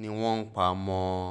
ni wọ́n pa mọ́ ọn